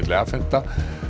afhenta